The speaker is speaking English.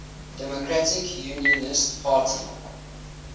democratic unionist party